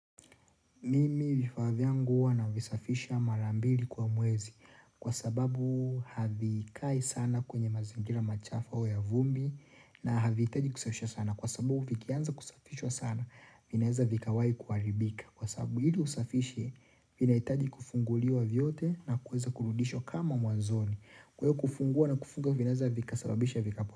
Mimi vifavya nguwa na vifafisha marambili kwa mwezi kwa sababu havikai sana kwenye mazingira machafa wa ya vumbi na havihitaji kusafishwa sana kwa sababu vikianza kusafishwa sana vinaweza vikawahi kuharibika kwa sababu ili usafishe vinahitaji kufunguliwa vyote na kuweza kurudishwa kama mwanzoni kule kufungua na kufunga vinaeza vikasababisha vikapo.